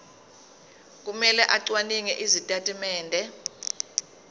kumele acwaninge izitatimende